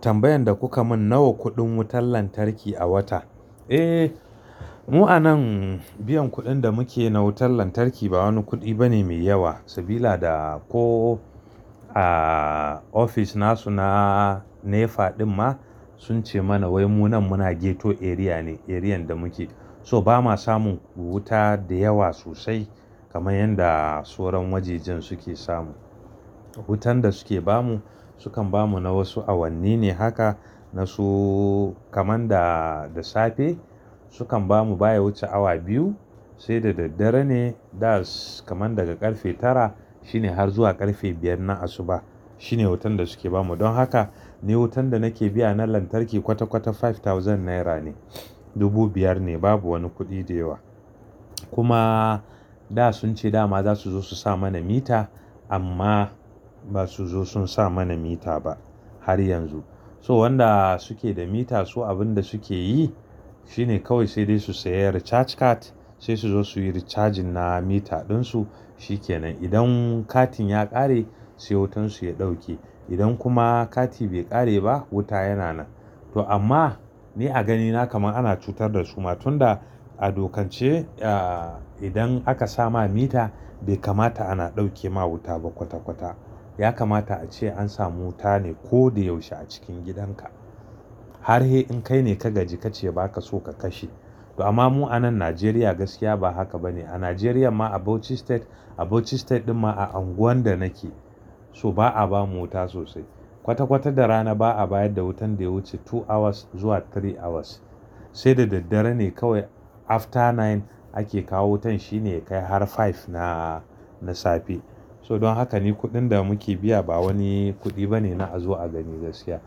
Tambayan da kuka mun nawa kuɗin wutar lantarki a wata? Eh, mu a nan biyan kuɗin da muke na wutar lantarki ba wani kuɗi bane mai yawa. Sabila da ko a ofis na su na NEPA ɗin ma sun ce mana wai mu nan muna ghetto area ne, arean da muke. So bama samun wuta da yawa sosai kamar yanda soran wajejin suke samu. Wutan da suke bamu sukan bamu na wasu awanni ne haka na su kamar da, da safe sukan bamu baya wuce awa biyu. Sai da daddare ne da kamar daga ƙarfe tara shine har zuwa ƙarfe biyar na asuba. Shine wutan da suke bamu. Don haka ni wutan da nake biya na lantarki kwata-kwata five thousand naira ne. Dubu biyar ne babu wani kuɗi da yawa. Kuma da sun ce dama za su zo su sa mana mita amma ba su zo sun sa mana mita ba har yanzu. So wanda suke da mita su abin da suke yi shine kawai sai dai su saya recharge card sai su zo su yi recharging na mita ɗin su, shi ke nan. Idan katin ya ƙare sai wutansu ya ɗauke. Idan kuma kati bai ƙare ba wuta yana nan. To amma ni a ganina kamar ana cutar da su ma tun da a dokance ah idan aka sama mita bai kamata ana ɗauke ma wuta ba kwata-kwata. Ya kamata a ce an samu wuta ne ko da yaushe a cikin gidan ka. Har he in kai ne ka gaji ka ce ba ka so ka kashe. To amma mu a nan Najeriya gaskiya ba haka bane. A Najeriya ma a Bauchi state, a Bauchi state ɗin ma a unguwan da nake so ba a bamu wuta sosai. Kwata-kwata da rana ba a bayar da wutan da ya wuce two hours zuwa three hours. Sai da daddare ne kawai after nine ake kawo wutan shine ya kai har five na, na safe. So don haka ni kuɗin da muke biya ba wani kuɗi bane na a zo a gaskiya.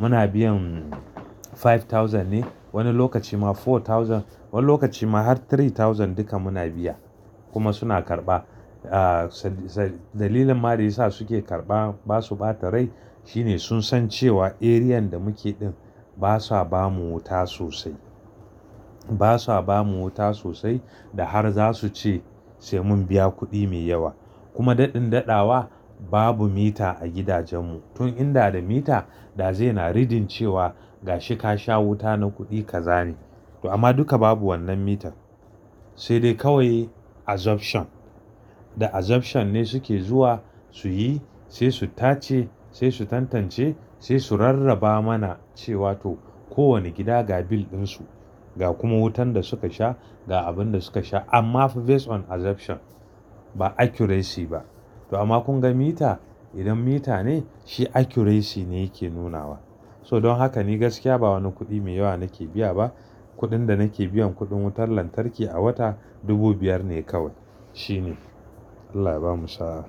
Muna biyan five thousand ne, wani lokaci ma four thousand, wani lokaci ma har three thousand duka muna biya kuma suna karɓa. A Ah dalilin ma da yasa suke karɓa ba su ba da rai shine sun san cewa arean da muke ɗin ba sa bamu wuta sosai. Ba sa bamu wuta sosai da har za su ce sai mun biya kuɗi mai yawa. Kuma daɗin daɗawa babu mita a gidajen mu. Tun inda da mita da zai na reading cewa gashi ka sha wuta na kuɗi ka zane. To amma duka babu wannan mitan. Sai dai kawai assumption. Da assumption ne suke zuwa su yi, sai su tace, sai su tantance, sai su rarraba mana cewa to kowane gida ga bill ɗin su, ga kuma wutan da suka sha, ga abin da suka sha. Amma fa based on assumption. Ba accuracy ba. To amma kun ga mita, idan mita ne shi accuracy ne yake nunawa. So don haka ni gaskiya ba wani kuɗi mai yawa nake biya ba. Kuɗin da nake biyan kuɗin wutar lantarki a wata dubu biyar ne kawai. Shine. Allah ya bamu sa'a.